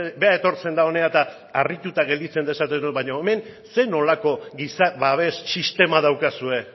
bera etortzen da hona eta harrituta gelditzen da esaten du baina hemen zer nolako giza babes sistema daukazue